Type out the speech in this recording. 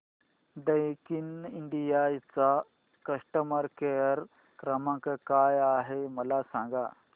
Daikin India चा customer care क्रमांक काय आहे मला सांगा